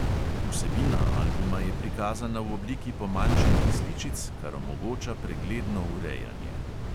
Vsebina albuma je prikazana v obliki pomanjšanih sličic, kar omogoča pregledno urejanje.